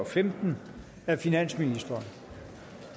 fem af finansministeren